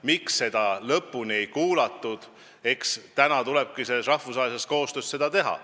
Miks seda korralikult ei kuulatud, eks tulebki selles rahvusvahelises koostöös selgitada.